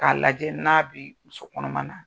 K'a lajɛ n'a bi muso kɔnɔma na.